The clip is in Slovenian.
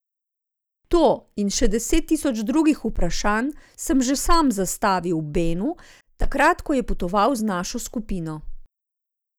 To in še deset tisoč drugih vprašanj sem že sam zastavil Benu, takrat ko je potoval z našo skupino.